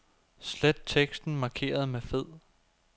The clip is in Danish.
Slet teksten markeret med fed.